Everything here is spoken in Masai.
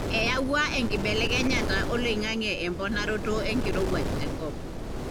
eyawua enkibelekenyata oloingange emponaroto enkirowuaj tenkop,